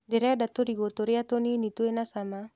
Ndĩreda tũrigũ tũrĩa tũnini twĩna cama.